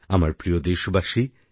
আমার প্রিয় দেশবাসী